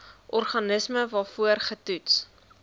organisme waarvoor getoets